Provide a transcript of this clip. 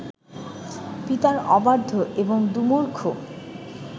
পিতার অবাধ্য এবং দুর্মুখ